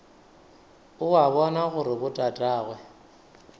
o a bona gore botatagwe